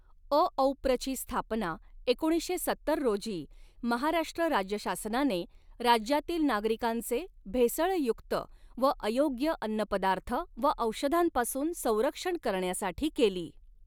अऔप्रची स्थापना एकोणीसशे सत्तर रोजी महाराष्ट्र राज्य शासनाने राज्यातील नागरिकांचे भेसळयुक्त व अयोग्य अन्नपदार्थ व औषधांपासून संरक्षण करण्यासाठी केली.